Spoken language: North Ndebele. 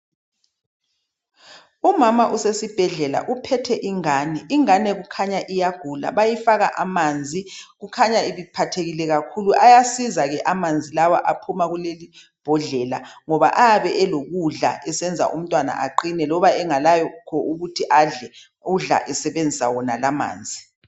Umama usesibhedlela uphethe ingane, ingane kukhanya iyagula bayifaka amanzi, kukhanya ibiphathekile kakhulu. Ayasiza ke amanzi lawa aphuma kulelibhodlela ngoba ayabe elokudla, esenza umtwana aqine loba engelakho ukuthi adle, udla esebenzisa wonala amanzi.